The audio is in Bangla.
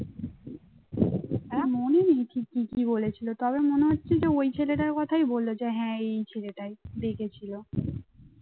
মনে নেই ঠিক কি কি বলেছিল, তবে মনে হচ্ছে যে ওই ছেলেটার কথাই বলল যে হ্যাঁ এই ছেলেটাই দেখেছিল